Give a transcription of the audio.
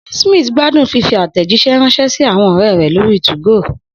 Smith gbádùn fífi àtẹ̀jíṣẹ́ ránṣẹ́ sí àwọn ọ̀rẹ́ rẹ̀ lórí 2go